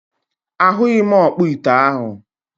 A hughi m okpo ite ahu.